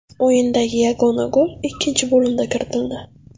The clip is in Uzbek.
O‘yindagi yagona gol ikkinchi bo‘limda kiritildi.